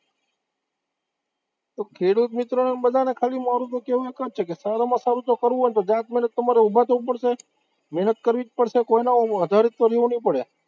તો ખેડૂત મિત્રોને બધાને ખાલી મારુ તો કેવું એક જ છે કે સારામાં સારું જો કરવું હોય ને તો જાત મહેનત તમારે ઉભા થવું પડશે, મહેનત કરવી જ પડશે, કોઈના આધારિત રહેવું નહિ પડે